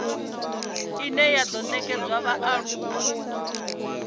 ine ya do nekedzwa vhaaluwa